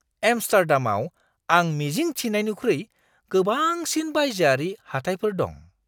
एम्स्टार्डामाव आं मिजिं थिनायनिख्रुइ गोबांसिन बायजोआरि हाथायफोर दं!